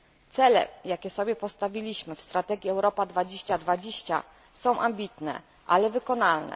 Cele, jakie sobie postawiliśmy w strategii Europa 2020 są ambitne, lecz wykonalne.